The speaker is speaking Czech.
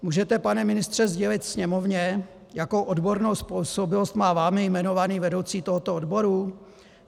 Můžete, pane ministře, sdělit Sněmovně, jakou odbornou způsobilost má vámi jmenovaný vedoucí tohoto odboru?